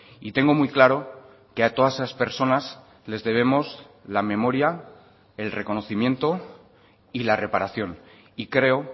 y tengo muy claro que a todas esas personas les debemos la memoria el reconocimiento y la reparación y creo